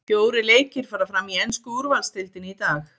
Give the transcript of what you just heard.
Fjórir leikir fara fram í ensku úrvaldsdeildinni í dag.